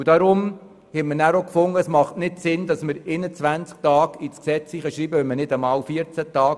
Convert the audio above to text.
Deshalb waren wir der Meinung, es mache keinen Sinn, im Gesetz die Dauer auf 21 Tage zu erhöhen.